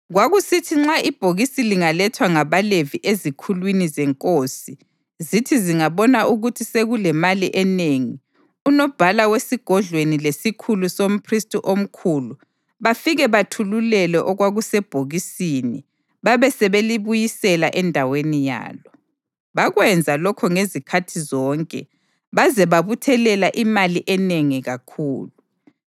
Kwakusithi nxa ibhokisi lingalethwa ngabaLevi ezikhulwini zenkosi zithi zingabona ukuthi sekulemali enengi, unobhala wesigodlweni lesikhulu somphristi omkhulu bafike bathulule okwakusebhokisini babe sebelibuyisela endaweni yalo. Bakwenza lokho ngezikhathi zonke baze babuthelela imali enengi kakhulu.